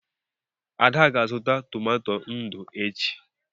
Ada ga-azụta tomato ndụ echi.